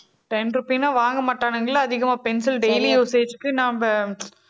ten rupees னா வாங்க மாட்டானுங்கல்ல அதிகமா pencil daily usage க்கு நாம